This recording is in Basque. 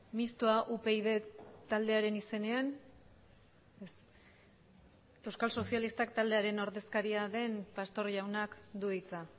mistoa upyd taldearen izenean ez euskal sozialistak taldearen ordezkaria den pastor jaunak du hitza